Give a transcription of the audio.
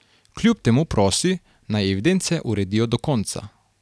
Kljub temu prosi, naj evidence uredijo do konca.